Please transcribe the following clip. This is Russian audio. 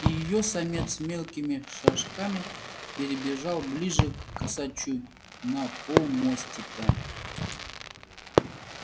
и её самец мелкими шажками перебежал ближе к косачу на полмостика